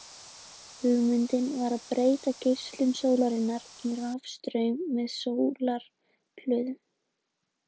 Hugmyndin var að breyta geislun sólarinnar í rafstraum með sólarhlöðum.